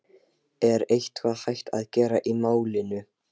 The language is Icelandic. Er eitthvað hægt að gera í málinu?